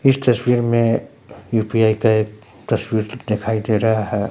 इस तस्वीर में यू_पी_आई का एक तस्वीर दिखाई दे रहा है।